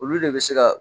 Olu de bɛ se ka